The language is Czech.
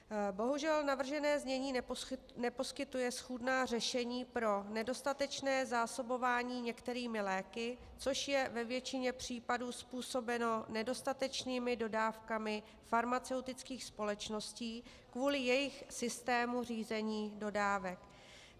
Bohužel navržené znění neposkytuje schůdná řešení pro nedostatečné zásobování některými léky, což je ve většině případů způsobeno nedostatečnými dodávkami farmaceutických společností kvůli jejich systému řízení dodávek.